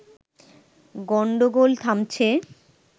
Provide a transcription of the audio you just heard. গন্ডোগোল থামছে